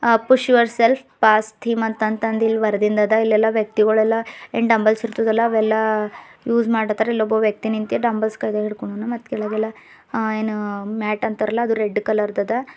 ಅ push yourself pass theme ಅಂತ ಅಂದ ಬರದಿಂದ ಅದ ಇಲ್ಲಿ ಇಲ್ಲಿ ಎಲ್ಲಾ ವ್ಯಕ್ತಿಗೊಳ ಎಲ್ಲಾ ಏನ ಡಂಬೆಲ್ಸ್ ಇರ್ತದ ಅಲ ಅವೆಲ್ಲಾ ಉಜ್ ಮಾಡಾತರ ಇಲ್ಲಿ ಒಬ್ಬ ವ್ಯಕ್ತಿ ನಿಂತಿ ಡಂಬೆಲ್ಸ್ ಕೈಗ ಹಿಡ್ಕೊಂಡಾನ ಮತ್ ಕೆಳಗ್ ಯಲ್ಲಾ ಮಠ ಅಂತಾರಲ್ಲ ಅದು ರೆಡ್ ಕಲರ್ ದದಾ.